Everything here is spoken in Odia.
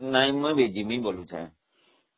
ନାଇଁ ମୁଁ ଏବେ ଯିବି ବୋଲୁଛି